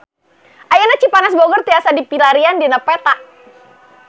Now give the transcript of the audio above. Ayeuna Cipanas Bogor tiasa dipilarian dina peta